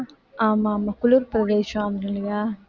ஆமா ஆமா குளிர் பிரதேசம்